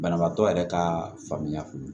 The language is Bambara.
Banabaatɔ yɛrɛ ka faamuyali